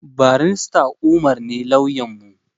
Barista umar ne lauyanmu